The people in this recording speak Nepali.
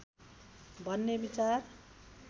भन्ने विचार